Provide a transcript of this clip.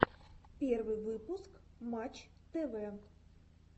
первый выпуск матч тв